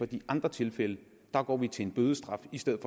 de andre tilfælde går vi til en bødestraf i stedet